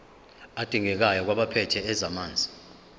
adingekayo kwabaphethe ezamanzi